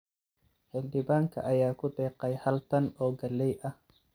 Xildhibaanka ayaa ku deeqay hal tan oo galley ah.